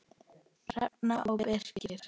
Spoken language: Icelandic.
Hrefna og Birkir.